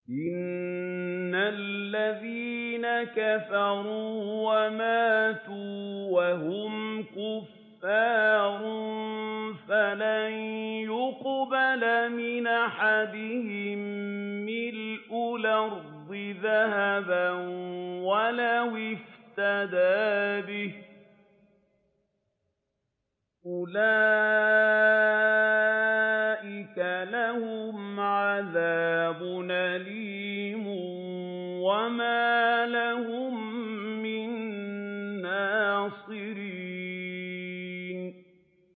إِنَّ الَّذِينَ كَفَرُوا وَمَاتُوا وَهُمْ كُفَّارٌ فَلَن يُقْبَلَ مِنْ أَحَدِهِم مِّلْءُ الْأَرْضِ ذَهَبًا وَلَوِ افْتَدَىٰ بِهِ ۗ أُولَٰئِكَ لَهُمْ عَذَابٌ أَلِيمٌ وَمَا لَهُم مِّن نَّاصِرِينَ